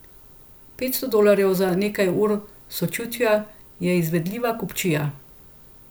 Petsto dolarjev za nekaj ur sočutja je izvedljiva kupčija.